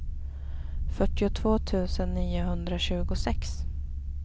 fyrtiotvå tusen niohundratjugosex